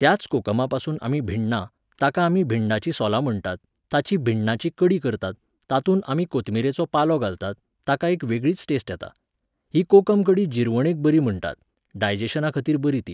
त्याच कोकमापासून आमी भिण्णां, ताका आमी भिंडाचीं सोलां म्हणटात, तांची भिण्णांची कडी करतात, तातूंत आमी कोथमिरेचो पालो घालतात, ताका एक वेगळीच टेस्ट येता. ही कोकम कडी जिरवणेक बरी म्हणटात, डायजॅशनाखातीर बरी ती.